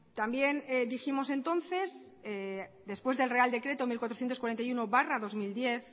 también dijimos entonces después del real decreto mil cuatrocientos cuarenta y uno barra dos mil diez